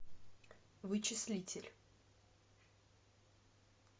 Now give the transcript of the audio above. вычислитель